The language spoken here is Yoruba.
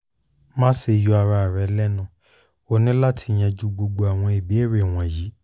maṣe yọ ara rẹ lẹnu o ni lati yanju gbogbo awọn ibeere wọnyi